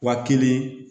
Wa kelen